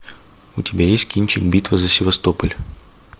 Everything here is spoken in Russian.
у тебя есть кинчик битва за севастополь